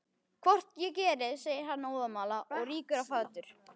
Hvort ég geri, segir hann óðamála og rýkur á fætur.